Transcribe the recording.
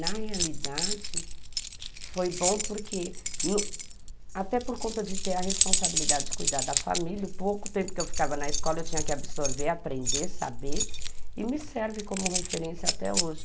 Na realidade, foi bom porque, até por conta de ter a responsabilidade de cuidar da família, pouco tempo que eu ficava na escola, eu tinha que absorver, aprender, saber, e me serve como referência até hoje.